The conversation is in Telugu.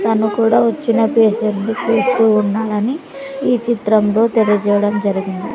తను కూడా వచ్చిన పేషంట్ని చూస్తూ ఉన్నాడని ఈ చిత్రంలో తెలియజేయడం జరిగింది.